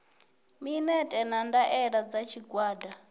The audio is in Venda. minetse na ndaela dza tshigwada